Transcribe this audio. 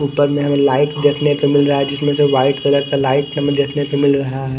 हमें लाईट देखने को मिल रहा है जिसमें से वाईट कलर का लाईट हमें देखने को मिल रहा है।